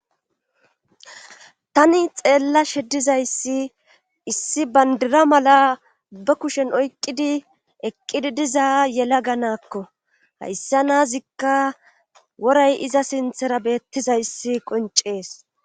Tani xeella sheddizayssi issi bandira mala ba kushen oyqqidi eqqidi diza yela ganaakko hayssa naazikka woray iza sinthera beettizayssi qoncees